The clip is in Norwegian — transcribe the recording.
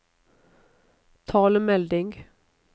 talemelding